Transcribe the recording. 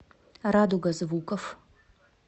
радуга звуков